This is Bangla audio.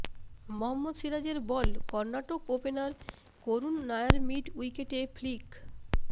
মহম্মদ সিরাজের ball Karnataka opener Karun Nair mid উইকেটে ফ্লিক